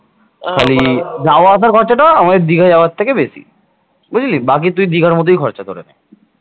খালি যাওয়া আসার খরচাটা আমাদের দিঘা যাওয়ার থেকে বেশি। বুঝলি? বাকি তুই দিঘার মতোই খরচা ধরে নে